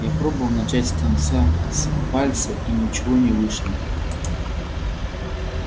я пробовал начать с конца с пальца и ничего не вышло